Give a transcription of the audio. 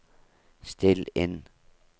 still inn